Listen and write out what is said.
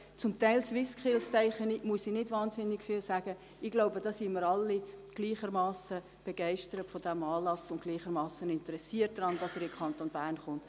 Zu den SwissSkills sage ich nicht viel, denn wir alle sind wohl gleichermassen begeistert von diesem Anlass und sind interessiert daran, dass er in den Kanton Bern kommt.